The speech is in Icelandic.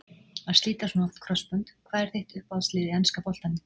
Að slíta svona oft krossbönd Hvað er þitt uppáhalds lið í enska boltanum?